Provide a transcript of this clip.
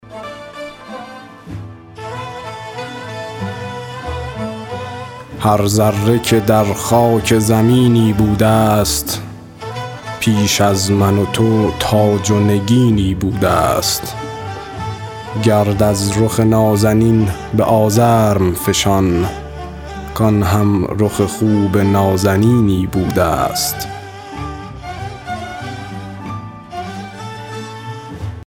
هر ذره که در خاک زمینی بوده ست پیش از من و تو تاج و نگینی بوده ست گرد از رخ نازنین به آزرم فشان کآن هم رخ خوب نازنینی بوده ست